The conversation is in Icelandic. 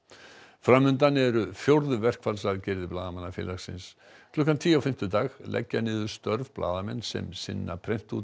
fram undan eru fjórðu verkfallsaðgerðir Blaðamannafélagsins klukkan tíu á fimmtudag leggja niður störf blaðamenn sem sinna